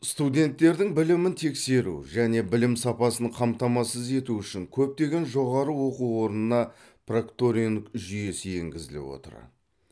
студенттердің білімін тексеру және білім сапасын қамтамасыз ету үшін көптеген жоғары оқу орнына прокторинг жүйесі енгізіліп отыр